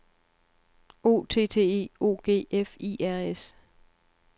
O T T E O G F I R S